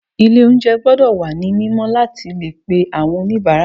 Ilé oúnjẹ gbọ́dọ̀ wà ní mímọ́ láti le pe àwọn oníbàárà.